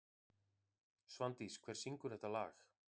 Svandís, hver syngur þetta lag?